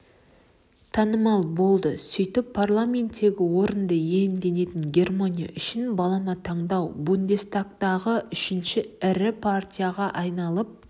танымал болды сөйтіп парламенттегі орынды иемденетін германия үшін балама таңдау бундестагтағы үшінші ірі партияға айналып